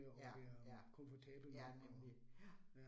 Ja, ja, ja nemlig, ja